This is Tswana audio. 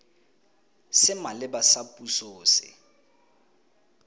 se maleba sa puso se